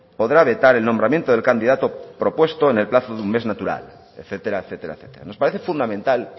podrá vetar el nombramiento del candidato propuesta en el plazo de un mes natural etcétera etcétera nos parece fundamental